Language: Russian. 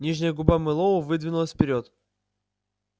нижняя губа мэллоу выдвинулась вперёд